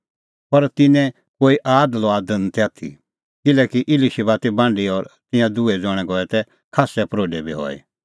पर तिन्नें निं कोई आद लुआद आथी ती किल्हैकि इलीशिबा ती बांढी और तिंयां दुहै ज़ण्हैं गऐ तै खास्सै प्रोढै बी हई